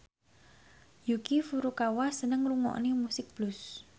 Yuki Furukawa seneng ngrungokne musik blues